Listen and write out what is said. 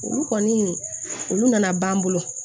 Olu kɔni olu nana ban an bolo